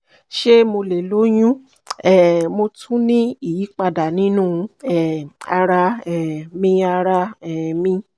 ṣe mo le loyun? um mo tun ni iyipada ninu um ara um mi ara um mi